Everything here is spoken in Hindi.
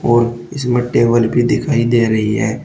और इसमें टेबल भी दिखाई दे रही है।